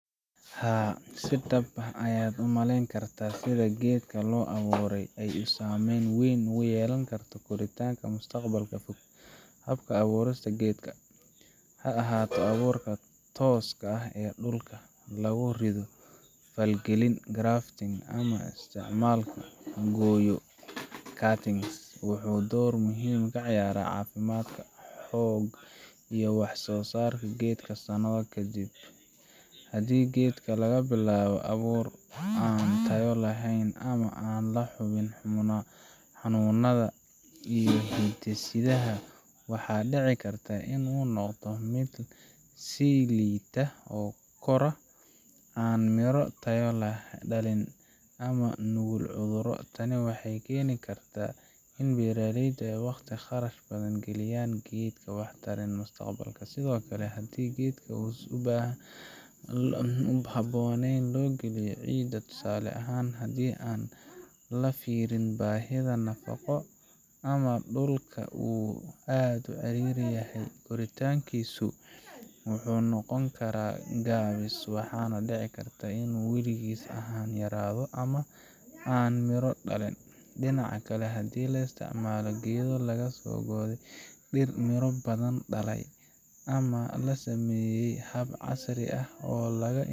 Haa si dab ah ayad umaleyni karta sidha gedka loo aburey oo ay sameyn weyn ogu yelani karto koritanka mustaqlalka fog habka aburista gedka haahato aburta toska ee dulka lagu rido falgalin drafting ah, ama istacmalka mangoyo cutings wuxu dor muhim ah kaciyarah cafimadka xoga iyo wax sosarka gedka sanado kadib hadi gedka lagabilabo abur an tayo lehen ama aan laxubin xanunada iyo hindisiyada waxa dici karta inu noqdo mid silita oo koro an miro tayo, lehen dalin ama nugul cuduro tani waxay keni karta ini beraleyda aay waqti qatan qarash badhan galiyan gedka wax tarin mustaqbalka sidiokale hadi gedka uu habonen loo galiyo ee cida tusale ahan lafirinin bahida nafaqo ama aad ucari yahayahy koritankisu, wuxu noqoni kara gawis waxa nah dici karta inu weligis yarado amah an miro dalin dinaca kale hadi laa istacmalo geda lagasogure dir miro badhan dale ama lasameye hab casri ah oo laga.